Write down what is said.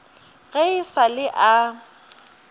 ge e sa le a